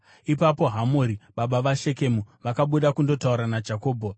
Ipapo Hamori baba vaShekemu vakabuda kundotaura naJakobho.